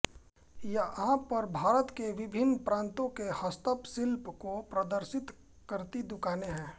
यहां पर भारत के विभिन्न प्रांतों के हस्तपशिल्प् को प्रदर्शित करती दुकानें हैं